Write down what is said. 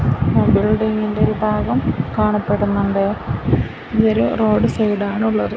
ഒരു ഭാഗം കാണപ്പെടുന്നുണ്ട് ഇതൊരു റോഡ് സൈഡാണ് ഉള്ളത്.